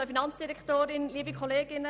Nun spreche ich für die grüne Fraktion.